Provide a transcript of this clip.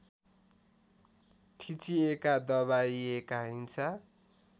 थिचिएका दबाइएका हिंसा